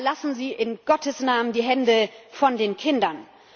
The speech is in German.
Aber lassen Sie in Gottes Namen die Hände von den Kindern!